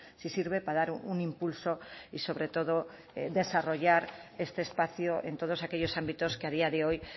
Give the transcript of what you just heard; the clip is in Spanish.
si sirve para dar un impulso y sobre todo desarrollar este espacio en todos aquellos ámbitos que a día de hoy